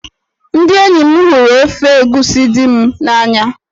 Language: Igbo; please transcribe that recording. Ndị enyi m hụrụ ofe egusi di m n'anya.